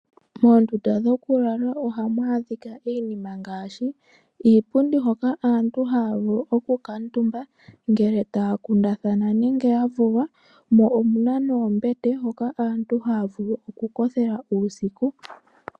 Moondunda dhoku lala ohamu adhika iinima ngaashi iipundi hoka aantu haya vulu oku kutuumba ngele taya kundathana nenge ya vulwa mo omuna noombete hoka aantu haya oku kothela uusiku.